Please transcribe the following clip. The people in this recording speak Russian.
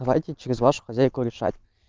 давайте через вашу хозяйку решать